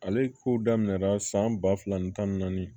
Ale kow daminɛra san ba fila ni tan ni naani